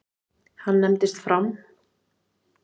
Hann nefndist Fram.